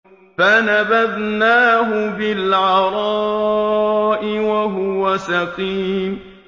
۞ فَنَبَذْنَاهُ بِالْعَرَاءِ وَهُوَ سَقِيمٌ